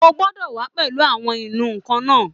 O gbọ́dọ̀ wà á pẹ̀lú àwọn ìnù-ǹkan náà